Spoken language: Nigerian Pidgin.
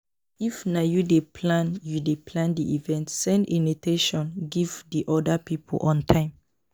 If na you dey plan you dey plan di event, send initation give di oda pipo on time